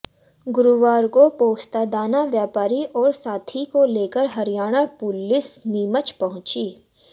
गुरुवार को पोस्तादाना व्यापारी और साथी को लेकर हरियाणा पुलिस नीमच पहुंची